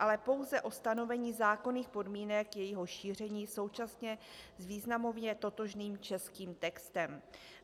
ale pouze o stanovení zákonných podmínek jejího šíření současně s významově totožným českým textem.